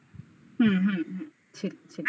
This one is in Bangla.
হুম হুম হুম ছিল ছিল